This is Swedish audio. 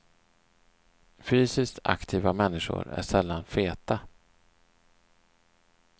Fysiskt aktiva människor är sällan feta.